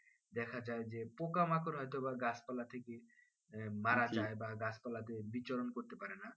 দেখা যাই যে পোকামাকড় হয়তো বা গাছ পাল্লা থেকে মারা যাই বা গাছ পাল্লাতে বিচরণ করতে পারেনা